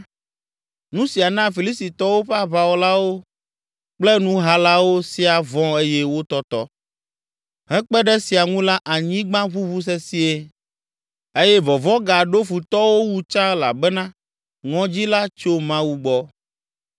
Nu sia na Filistitɔwo ƒe aʋawɔlawo kple nuhalawo sia vɔ̃ eye wotɔtɔ. Hekpe ɖe esia ŋu la anyigba ʋuʋu sesĩe eye vɔvɔ̃ gaɖo futɔwo wu tsã elabena ŋɔdzi la tso Mawu gbɔ.